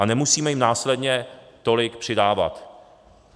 A nemusíme jim následně tolik přidávat.